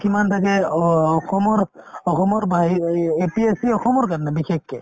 কিমান থাকে অ~ অসমৰ অসমৰ বাহিৰ A~A~ APSC অসমৰ কাৰণে বিশেষকে